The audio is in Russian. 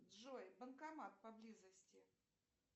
джой банкомат поблизости